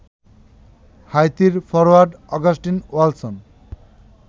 হাইতির forward Augustin ওয়ালসন